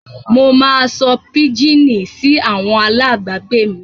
Mo máa sọ píjíìnì sí àwọn alábàágbé mi.